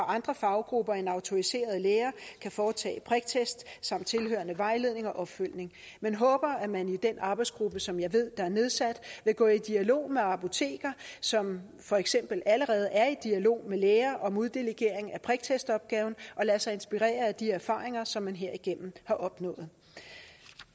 andre faggrupper end autoriserede læger kan foretage priktest samt tilhørende vejledning og opfølgning men håber at man i den arbejdsgruppe som jeg ved der er nedsat vil gå i dialog med apoteker som for eksempel allerede er i dialog med læger om uddelegering af priktestopgaven og lade sig inspirere af de erfaringer som man herigennem har opnået